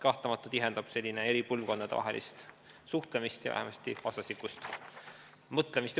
Kahtlemata tihendab see eri põlvkondade suhtlemist ja vastastikust mõistmist.